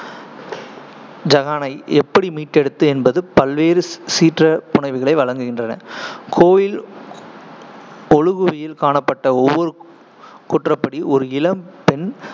ஜகானை எப்படி மீட்டெடுத்து என்பது பற்றிய பல்வேறு சீற்ற புனைவுகளை வழங்குகின்றன. கோயில் ஒழுகுவில் காணப்பட்ட ஒருவரின் கூற்றுப்படி, ஒரு இளம் பெண்